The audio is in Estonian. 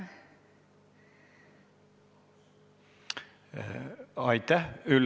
Aitäh!